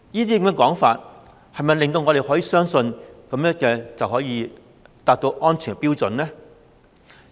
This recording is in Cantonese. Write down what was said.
這些說話能否令我們相信這樣便可以達到安全標準？